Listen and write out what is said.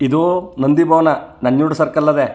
ಇದು ನಂದಿಭವನ ನಂಜುಂಡ್ ಸರ್ಕಲ್ ಅದೆ.